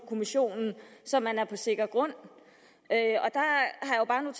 kommissionen så man er på sikker grund